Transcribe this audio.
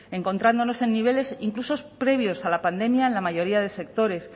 encontrándonos en niveles incluso previos a la pandemia en la mayoría de sectores